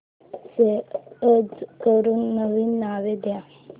save as करून नवीन नाव दे